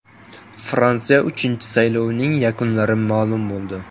Fransiya IIV saylovning yakunlarini ma’lum qildi.